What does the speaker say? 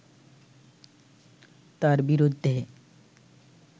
তাঁর বিরুদ্ধে